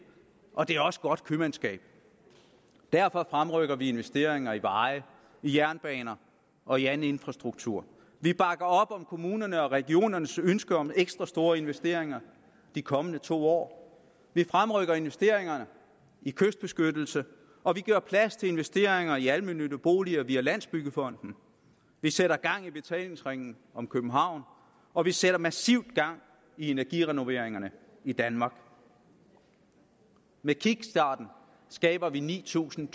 og det er også godt købmandskab derfor fremrykker vi investeringer i veje i jernbaner og i anden infrastruktur vi bakker op om kommunernes og regionernes ønske om ekstra store investeringer i de kommende to år vi fremrykker investeringerne i kystbeskyttelse og vi gør plads til investeringer i almene boliger via landsbyggefonden vi sætter gang i betalingsringen om københavn og vi sætter massivt gang i energirenoveringerne i danmark med kickstarten skaber vi ni tusind